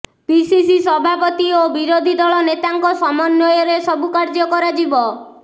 PCC ସଭାପତି ଓ ବିରୋଧୀ ଦଳ ନେତାଙ୍କ ସମନ୍ବୟରେ ସବୁ କାର୍ଯ୍ୟ କରାଯିବ